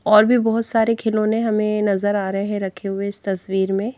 और भी बहुत सारे खिलौने हमें नजर आ रहे हैं रखे हुए इस तस्वीर में।